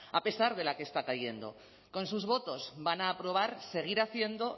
a pesar de la que está cayendo con sus votos van a aprobar seguir haciendo